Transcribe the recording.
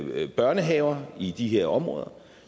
med børnehaver i de her områder